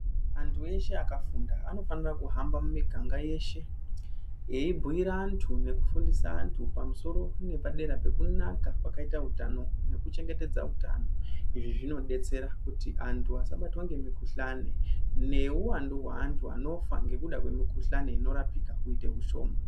Antu eshe akafunda anofanire kuhamba mumiganga yeshe veibhuire vantu nekufundise antu pamusoro nepadera kwekunaka kwakaita utano nekuchengetedza utano. Izvi zvinodetsera kuti antu asabatwa ngemukhuhlani nehuwandu hwantu anofa ngekuda kwemukhihlani inorapika kuite ushoma.